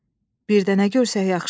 Birdə nə görsək yaxşıdır?